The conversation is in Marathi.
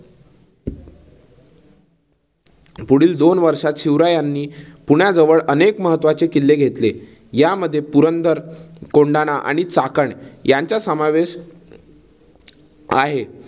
पुढील दोन वर्षात शिवरायांनी पुण्याजवळ अनेक महत्वाचे किल्ले घेतले. यामध्ये पुरंदर, कोंडाणा आणि चाकण यांचा समावेश आहे.